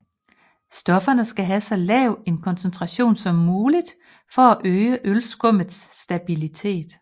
Stofferne skal have så lav en koncentration som muligt for at øge ølskummets stabilitet